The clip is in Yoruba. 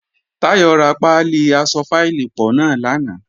Táyọ̀ ra pálí aṣọ fáìlì pọ̀ náà lánàá